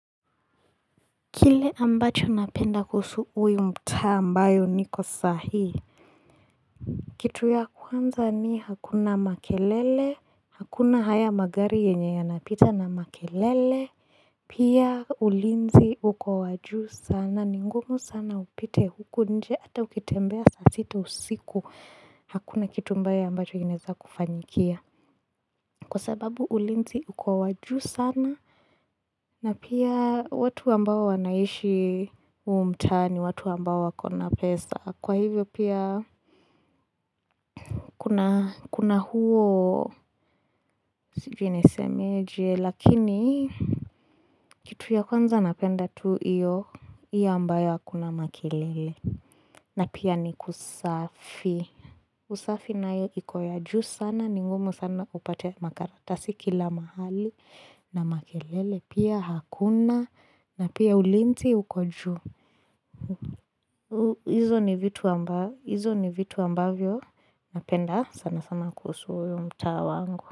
Kile ambacho napenda kuhusu huu mtaa ambayo niko sahi Kitu ya kwanza ni hakuna makelele hakuna haya magari yenye yanapita na makelele Pia ulinzi uko wa juu sana ni ngumu sana upite huku nje hata ukitembea saa sita usiku hakuna kitu mbaya ambacho inaeza kukufanyikia Kwa sababu ulinzi uko wa juu sana na pia watu ambao wanaishi huu mtaa ni watu ambao wako na pesa Kwa hivyo pia kuna huo sijui nisemeje lakini kitu ya kwanza napenda tu hiyo hiyo ambayo hakuna makelele na pia ni kusafi. Usafi nayo iko ya juu sana, ni ngumu sana upate makaratasi kila mahali na makelele, pia hakuna na pia ulinzi uko juu. Hizo ni vitu ambavyo napenda sana sana kuhusu huyu mtaa wangu.